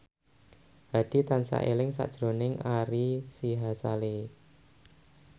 Hadi tansah eling sakjroning Ari Sihasale